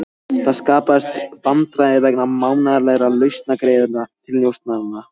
Það skapast vandræði vegna mánaðarlegra launagreiðslna til njósnaranna.